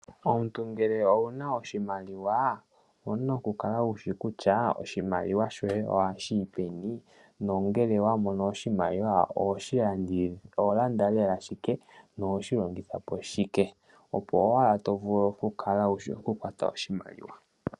Omuntu ngele owuna oshimaliwa, owuna oku kala wushi kutya oshimaliwa shoye oha shiyipeni, nongele wamona oshimaliwa oholanda lela shike nohoshi longithapo shike, opo owala tovulu okukala wushi oku kwata oshimaliwa.